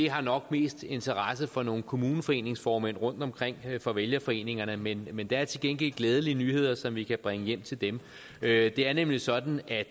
har nok mest interesse for nogle kommuneforeningsformænd rundtomkring fra vælgerforeningerne men men der er til gengæld glædelige nyheder som vi kan bringe hjem til dem det er nemlig sådan at